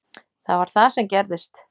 Það var það sem gerðist.